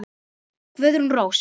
Guðrún Rós.